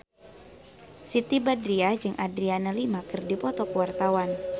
Siti Badriah jeung Adriana Lima keur dipoto ku wartawan